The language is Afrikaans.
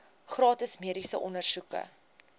gratis mediese ondersoeke